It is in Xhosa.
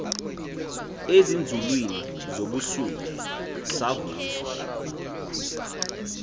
ezinzulwini zobusuku savuswa